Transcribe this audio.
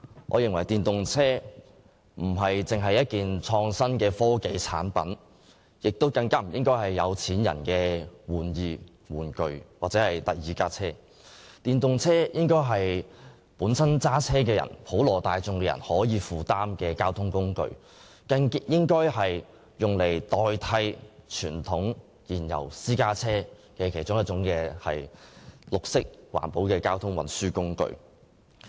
我認為電動車並非純粹是創新科技產品，更不應該是有錢人的玩意、玩具或第二輛車，而應該是駕車人士及普羅大眾可以負擔的交通工具，用作代替傳統燃油私家車的綠色環保交通運輸工具之一。